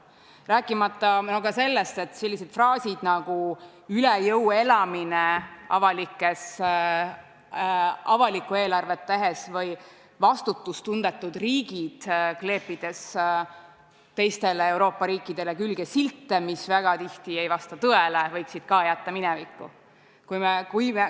Rääkimata sellest, et sellised fraasid nagu "üle jõu elamine" avalikku eelarvet tehes või "vastutustundetud riigid", kleepides teistele Euroopa riikidele külge silte, mis väga tihti ei vasta tõele, võiksid ka jääda minevikku.